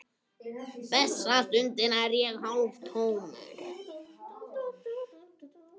Þessa stundina er ég hálftómur.